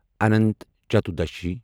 Anant Chaturdashi